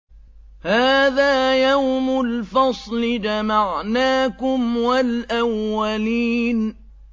هَٰذَا يَوْمُ الْفَصْلِ ۖ جَمَعْنَاكُمْ وَالْأَوَّلِينَ